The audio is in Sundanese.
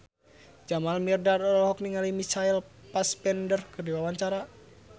Jamal Mirdad olohok ningali Michael Fassbender keur diwawancara